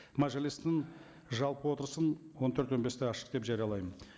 мәжілістің жалпы отырысын он төрт он бесте ашық деп жариялаймын